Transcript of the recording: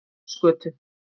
Njálsgötu